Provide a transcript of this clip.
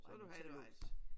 Så er du halvvejs